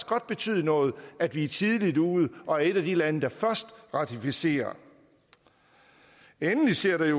godt betyde noget at vi er tidligt ude og et af de lande der først ratificerer endelig ser det